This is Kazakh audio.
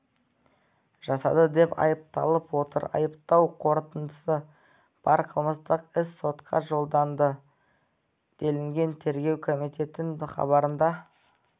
жасады деп айыпталып отыр айыптау қорытындысы бар қылмыстық іс сотқа жолданды делінген тергеу комитетінің хабарында